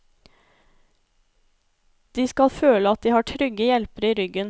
De skal føle at de har trygge hjelpere i ryggen.